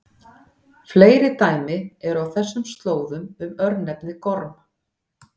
Fleiri dæmi eru á þessum slóðum um örnefnið Gorm.